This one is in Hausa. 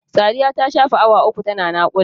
Sadiya ta shafe awa uku ta na naƙuda.